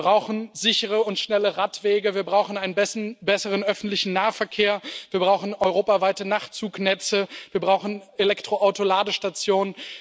Wir brauchen sichere und schnelle Radwege, wir brauchen einen besseren öffentlichen Nahverkehr, wir brauchen europaweite Nachtzugnetze, wir brauchen Elektroauto Ladestationen.